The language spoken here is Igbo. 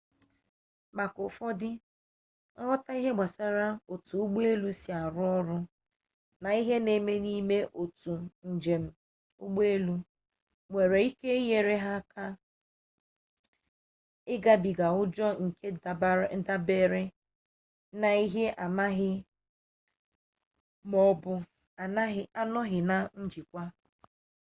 maka ụfọdụ nghọta ihe gbasara otu ụgbọ elu si arụ ọrụ na ihe na-eme n'ime otu njem ụgbọelu nwere ike inye aka ịgabiga ụjọ nke dabere na ihe amaghị ma ọ bụ anọghị na njikwa